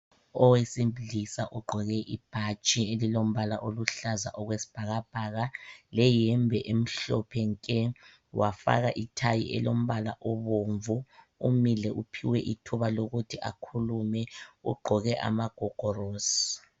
Owesilisa ugqoke ibhatshi elilombala oluhlaza okwesibhakabhaka leyembe emhlophe nke. Wafaka ithayi elombala obomvu umile uphiwe ithuba lokuthi akhulume ugqoke amagogorosi.